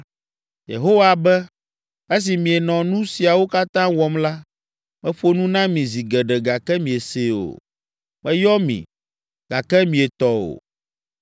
Yehowa be, ‘Esi mienɔ nu siawo katã wɔm la, meƒo nu na mi zi geɖe gake miesee o, meyɔ mi gake mietɔ o.